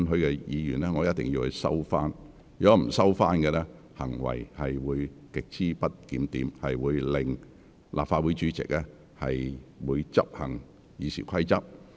若議員不收回有關言詞，便屬於行為極不檢點，立法會主席會執行《議事規則》。